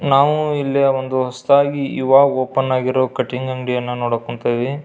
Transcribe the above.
ನಾವು ಇಲ್ಲಿಯ ಒಂದು ಹೊಸತಾಗಿ ಈವಾಗ ಓಪನ್ ಆಗಿರುವ ಕಟ್ಟಿಂಗ್ ಅಂಗಡಿಯನ್ನು ನೋಡಕ್ ಕುಂತೇವಿ.